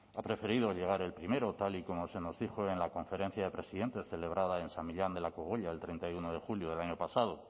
ha preferido llegar el primero tal y como se nos dijo en la conferencia de presidentes celebrada en san millán de la cogolla el treinta y uno de julio del año pasado